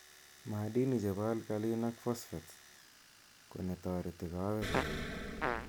maadini chepo alkalin ak phoshatase konetoreti kawek koet.